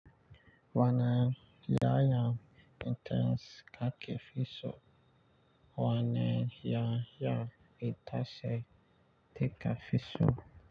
Wanan 'ya'yan itace ka ke fiso. Wanan 'ya'yan itace ka ki fiso.